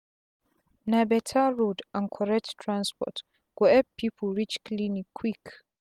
na beta road and corret transport go epp pipu reach clinic quick